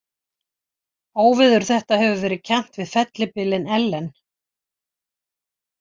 Óveður þetta hefur verið kennt við fellibylinn Ellen.